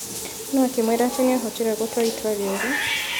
No akĩmwĩra atĩ niahotire gũtua itwa rĩoru.